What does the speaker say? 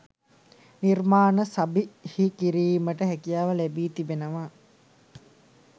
නිර්මාණ සබිහිකිරීමට හැකියාව ලැබී තිබෙනවා